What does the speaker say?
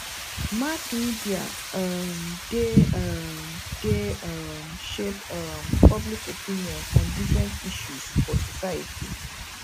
mass media um dey um dey um shape um public opinion on different issues for society